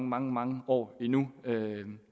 mange mange år endnu